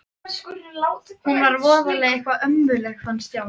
Hún var voðalega eitthvað ömmuleg fannst Stjána.